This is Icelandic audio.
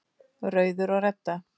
Rauður og Redda